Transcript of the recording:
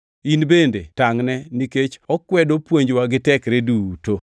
In bende tangʼne, nikech okwedo puonjwa gi tekre duto.